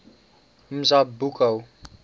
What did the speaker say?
mazibuko